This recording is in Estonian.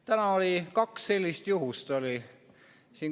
Täna oli kaks sellist juhust.